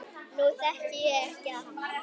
Nú þekki ég ekki hann